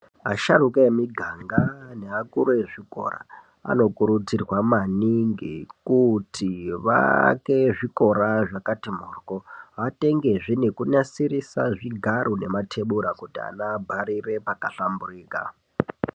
Asharuka emiganga neakuru ezvikora anokurudzirwa maningi kuti vaake zvikora zvakati mhoryo. Vatengezve nekunasirisa zvigaro nematebhura kuti ana abharire pakahlamburika.